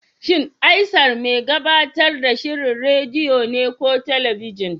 Shin Aisar mai gabatar da shirin rediyo ne ko talabijin?